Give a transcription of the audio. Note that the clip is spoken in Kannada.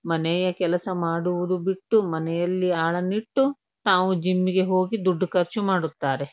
ಮನೆಯ ಕೆಲಸ ಮಾಡುವುದು ಬಿಟ್ಟು ಮನೆಯಲ್ಲಿ ಆಳನಿಟ್ಟು ತಾವು ಜಿಮ್ ಗೆ ಹೋಗಿ ದುಡ್ಡು ಖರ್ಚು ಮಾಡುತ್ತಾರೆ.